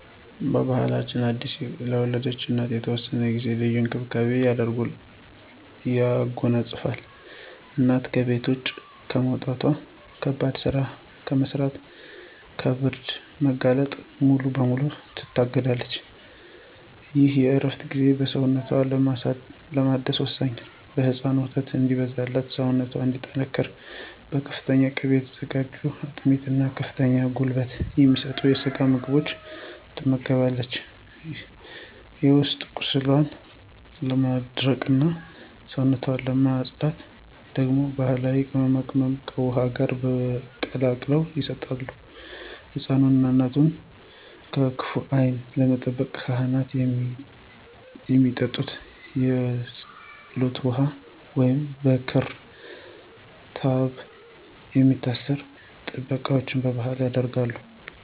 ባሕላችን አዲስ ለወለደች እናት ለተወሰነ ጊዜ ልዩ እንክብካቤን ያጎናጽፋል። እናት ከቤት ውጭ ከመውጣት፣ ከባድ ሥራ ከመሥራትና ከብርድ መጋለጥ ሙሉ በሙሉ ትታገዳለች። ይህ የእረፍት ጊዜ ሰውነቷን ለማደስ ወሳኝ ነው። ለሕፃኑ ወተት እንዲበዛላትና ሰውነቷ እንዲጠናከር በፍተኛ ቅቤ የተዘጋጁ አጥሚት እና ከፍተኛ ጉልበት የሚሰጡ የስጋ ምግቦች ትመገባለች። የውስጥ ቁስሏን ለማድረቅና ሰውነቷን ለማፅዳት ደግሞ ባሕላዊ ቅመማ ቅመሞች ከውኃ ጋር ተቀላቅለው ይሰጣሉ። ሕፃኑንና እናቱን ከክፉ ዓይን ለመጠበቅ ካህናት ያመጡት የፀሎት ውኃ ወይንም በክር/ክታብ የሚታሰሩ ጥበቃዎች በባሕል ይደረጋሉ።